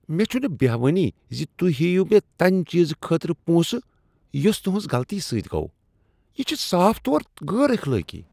مےٚ چھنہٕ بیہوانٕے ز تُہۍ ہیٚیو مےٚ تَمہِ چیزٕ خٲطرٕ پونٛسہٕ یس تہنٛز غلطی سۭتۍ گوٚو۔ یہ چھ صاف طور غیر اخلٲقی۔